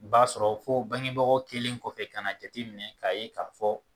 O b'a sɔrɔ fo bangebagaw kelen kɔfɛ kana jateminɛ k'a ye k'a fɔ.